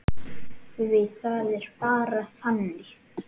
Því það var bara þannig.